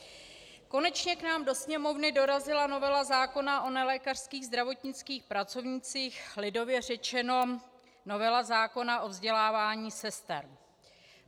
Konečně k nám do Sněmovny dorazila novela zákona o nelékařských zdravotnických pracovnících, lidově řečeno novela zákona o vzdělávání sester.